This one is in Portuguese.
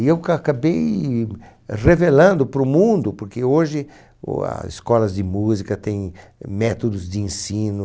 E eu cacabei revelando para o mundo, porque hoje o as escolas de música têm métodos de ensino,